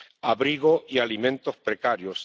Abrigo y alimentos precarios.